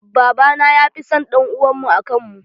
Baba na ya fi san ɗan uwan mu a kan mu.